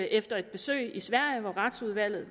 efter et besøg i sverige med retsudvalget